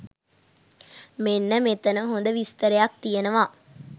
මෙන්න මෙතන හොද විස්තරයක් තියෙනවා.